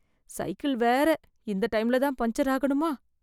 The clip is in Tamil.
சைக்கிள் வேற இந்த டைம்லதான் பஞ்சர் ஆகணுமா?